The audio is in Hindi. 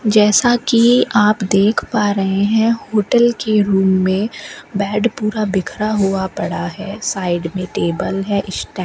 जैसा की आप देख पा रहे हैं होटल के रूम में बेड पूरा बिखरा हुआ पड़ा है साइड में टेबल है स्टैंड --